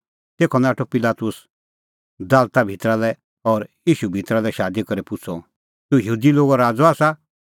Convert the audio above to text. तेखअ नाठअ पिलातुस दालता भितरा लै और ईशू भितरा लै शादी करै पुछ़अ तूह यहूदी लोगो राज़अ आसा